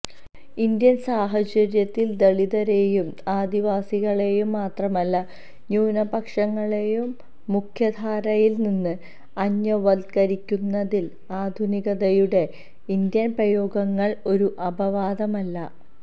Indian സാഹചര്യത്തില് ദളിതരെയും ആദിവാസികളെയും മാത്രമല്ല ന്യൂനപക്ഷങ്ങളെയും മുഖ്യധാരയില്നിന്ന് അന്യവത്കരിക്കുന്നതില് ആധുനികതയുടെ ഇന്ത്യന് പ്രയോഗങ്ങള് ഒരു അപവാദമല്ല